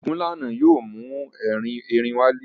Ogunlana yóò mú erin wálé.